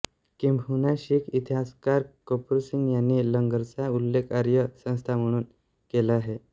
किंबहुना शीख इतिहासकार कपूर सिंग यांनी लंगरचा उल्लेख आर्य संस्था म्हणून केला आहे